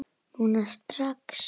Núna strax?